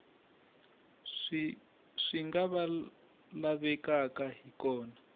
swi nga lavekaka hi kona